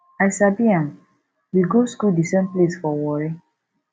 i sabi am we go school the same place for warri